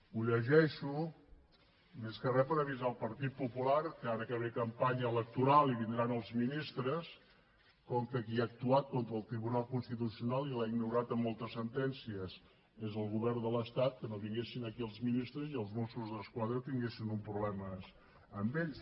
ho llegeixo més que re per avisar el partit popular que ara que ve campanya electoral i vindran els ministres com que qui ha actuat contra el tribunal constitucional i l’ha ignorat en moltes sentències és el govern de l’estat que no vinguessin aquí els ministres i els mossos d’esquadra tinguessin problemes amb ells